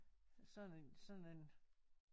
Sådan en sådan en